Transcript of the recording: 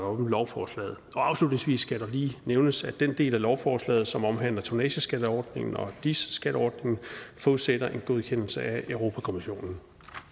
om lovforslaget afslutningsvis skal det lige nævnes at den del af lovforslaget som omhandler tonnageskatteordningen og dis skatteordningen forudsætter en godkendelse fra europa kommissionen